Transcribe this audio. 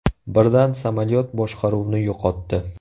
Birdan samolyot boshqaruvni yo‘qotdi.